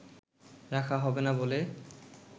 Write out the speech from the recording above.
রাখা হবে না বলে